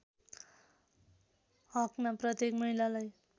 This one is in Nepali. हकमा प्रत्येक महिलालाई